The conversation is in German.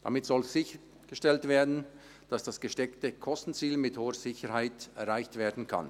Damit soll sichergestellt werden, dass das gesteckte Kostenziel mit hoher Sicherheit erreicht werden kann.